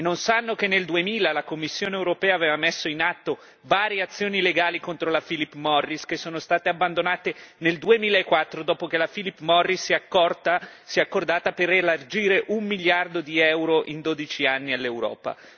E non sanno che nel 2000 la Commissione europea aveva messo in atto varie azioni legali contro la Philip Morris, che sono state abbandonate nel 2004 dopo che la Philip Morris si è accordata per elargire un miliardo di euro in 12 anni all'Europa.